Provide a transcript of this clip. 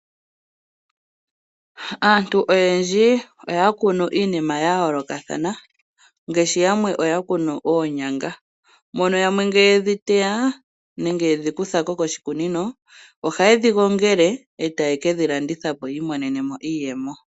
Aantu oyendji oya kunu iinima ya yoolokathana, ngaashi yamwe oya kunu oonyanga, mono yamwe ngele ye dhi teya, nenge ye dhi kutha ko koshikunino ohaye dhi gongele e taye ke dhi landitha po yi imonene mo iiyemo.